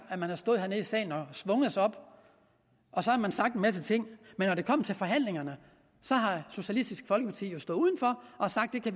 at man har stået hernede i salen og svunget sig op og sagt en masse ting men når det kom til forhandlinger så har socialistisk folkeparti jo stået udenfor og sagt at det